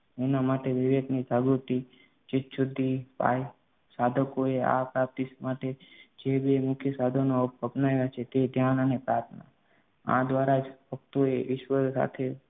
એના માટે વિવેક ને જાગૃતિ, ચિત્ત શુદ્ધિ પાળી સાધકોએ આ પ્રાપ્તિ માટે જે બે મુખ્ય સાધનો અપનાવ્યા છે તે ધ્યાન અને પ્રાર્થના આ દ્વારા જ ભક્તોએ ઈશ્વર સાથે